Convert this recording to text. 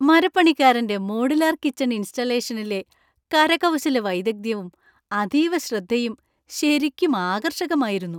മരപ്പണിക്കാരന്‍റെ modular kitchen ഇൻസ്റ്റാളേഷനിലെ കരകൗശല വൈദഗ്ധ്യവും, അതീവ ശ്രദ്ധയും ശരിക്കും ആകർഷകമായിരുന്നു.